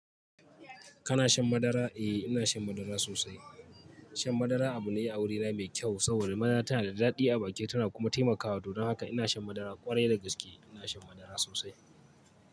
Kana shan madara? Eh ina shan madara sosai. Shan madara abu ne a wurina mai kyau saboda madara tana da daɗi a baki tana kuma taimakawa. To don haka ina shan madara ƙwarai da gaske ina shan madara sosai.